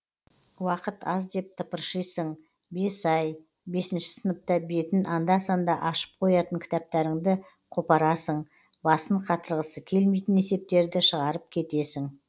уақыт аз деп тыпыршисың бес ай бесінші сыныпта бетін анда санда ашып қоятын кітаптарыңды қопарасың басын қатырғысы келмейтін есептерді шығарып кетесің